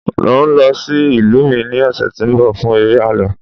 n o lọ sí ìlú mi ni ọsẹ ti nbọ fún eré àlọ